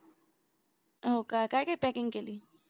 हो का काय काय packing केली